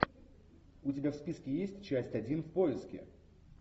у тебя в списке есть часть один в поиске